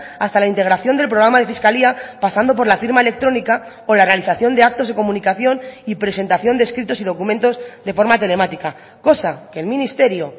hasta la integración del programa de fiscalía pasando por la firma electrónica o la realización de actos de comunicación y presentación de escritos y documentos de forma telemática cosa que el ministerio